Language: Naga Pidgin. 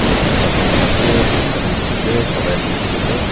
uh masala khan bana ase belcha khan dikhi ase karai khan dikhi ase.